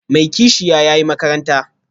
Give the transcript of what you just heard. Mai kishiya, ya yi makaranta